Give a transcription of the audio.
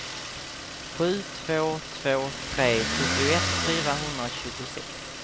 sju två två tre sjuttioett fyrahundratjugosex